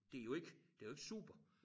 Det jo ikke det jo ikke super